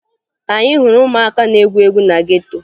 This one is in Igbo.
Anyị hụrụ ụmụaka na-egwu egwu na geto